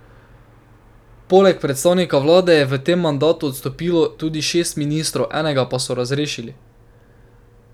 Poleg predsednika vlade je v tem mandatu odstopilo tudi šest ministrov, enega pa so razrešili.